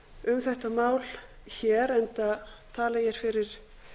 um þetta mál hér enda tala ég hér fyrir